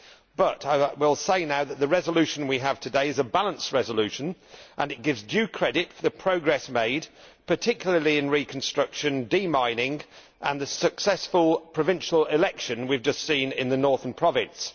But I will say now that the resolution we have today is a balanced resolution and it gives due credit for the progress made, particularly in reconstruction, demining, and the successful provincial election we have just seen in the Northern Province.